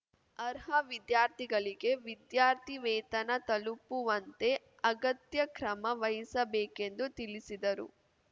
ಅರ್ಹ ವಿದ್ಯಾರ್ಥಿಗಳಿಗೆ ವಿದ್ಯಾರ್ಥಿ ವೇತನ ತಲುಪುವಂತೆ ಅಗತ್ಯ ಕ್ರಮ ವಹಿಸಬೇಕೆಂದು ತಿಳಿಸಿದರು